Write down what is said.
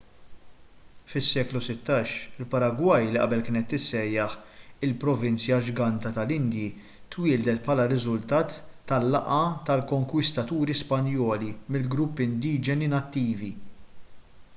fis-seklu 16 il-paragwaj li qabel kienet tissejjaħ il-provinzja ġganta tal-indji twieldet bħala riżultat tal-laqgħa tal-konkwistaturi spanjoli mal-gruppi indiġeni nattivi